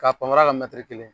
Ka panpanra kɛ kelen